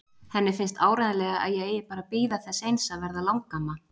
Henni finnst áreiðanlega að ég eigi bara að bíða þess eins að verða langamma.